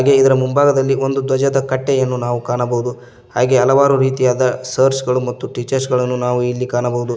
ಇದರ ಮುಂಭಾಗದಲ್ಲಿ ಒಂದು ಧ್ವಜದ ಕಟ್ಟೆಯನ್ನು ನಾವು ಕಾಣಬಹುದು ಹಾಗೆ ಹಲವಾರು ರೀತಿಯಾದ ಸರ್ಸ್ ಗಳು ಮತ್ತು ಟೀಚರ್ಸ್ ಗಳನ್ನು ನಾವು ಇಲ್ಲಿ ಕಾಣಬಹುದು.